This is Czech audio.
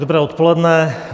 Dobré odpoledne.